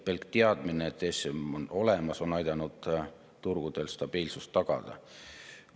Pelk teadmine, et ESM on olemas, on aidanud turgudel stabiilsust tagada.